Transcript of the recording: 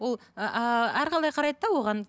ол ыыы әрқалай қарайды да оған